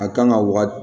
A kan ka waga